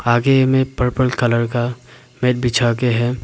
आगे में purple colour का बेड बिछा के है।